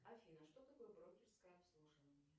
афина что такое брокерское обслуживание